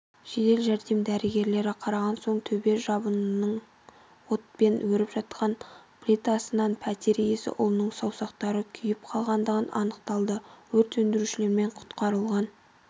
жедел жәрдем дәрігерлері қараған соң төбе жабындының отпен еріп аққан плитасынан пәтер иесі ұлының саусақтары күйіп қалғандығы анықталды өрт сөндірушілермен құтқарылған